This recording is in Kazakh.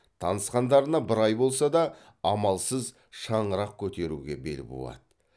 танысқандарына бір ай болса да амалсыз шаңырақ көтеруге бел буады